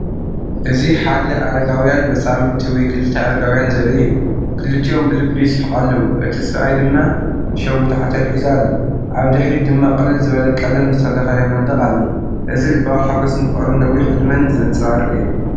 እዚ ሓደ ኣረጋውያን መጻምድቲ ወይ ክልተ ኣረጋውያን ዘርኢ እዩ። ክልቲኦም ብልቢ ይስሕቑ ኣለዉ፡እቲ ሰብኣይ ድማ ሸዊት ዓተር ሒዙ ኣሎ። ኣብ ድሕሪት ድማ ቅልል ዝበለ ቀለም ዝተለኽየ መንደቕ ኣሎ። እዚ ልባዊ ሓጐስን ፍቕርን ነዊሕ ዕድመን ዘንጸባርቕ እዩ።